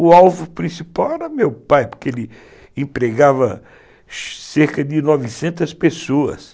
O alvo principal era meu pai, porque ele empregava cerca de novecentas pessoas.